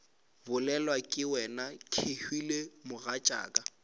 bolelwa ke wena kehwile mogatšaka